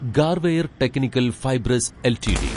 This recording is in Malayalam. Garware technical fibres LTD